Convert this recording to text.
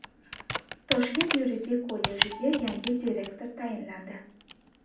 Toshkent yuridik kollejiga yangi direktor tayinlandi.